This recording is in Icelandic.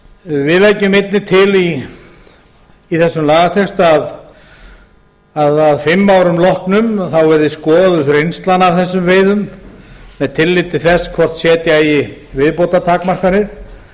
við leggjum einnig til í þessum lagatexta að að fimm árum loknum verði skoðuð reynslan af þessum veiðum með tilliti til þess hvort setja eigi viðbótartakmarkanir